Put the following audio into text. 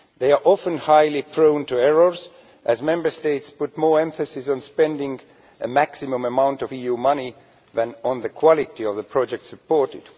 They are often highly prone to errors as Member States put more emphasis on spending a maximum amount of EU money than on the quality of the projects supported.